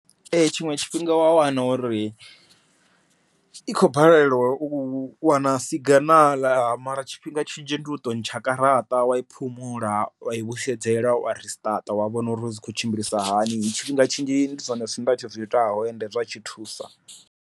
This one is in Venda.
Ee tshiṅwe tshifhinga wa wana uri i khou balelwa u wana siginaḽa mara tshifhinga tshinzhi ndi u to ntsha garaṱa wa i phumula, wa i vhusedzela wa risiṱaṱa wa vhona uri zwi khou tshimbilisa hani, tshifhinga tshinzhi ndi zwone zwithu zwenda tshi zwiitaho ende zwi tshi thusa.